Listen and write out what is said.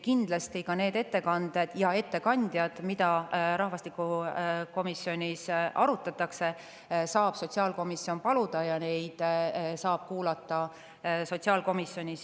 Kindlasti saab sotsiaalkomisjon ettekandjaid paluda, et neid ettekandeid, mida rahvastikukomisjonis on arutatud, saaks ka sotsiaalkomisjonis kuulata.